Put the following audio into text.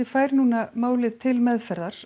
fær núna málið til meðferðar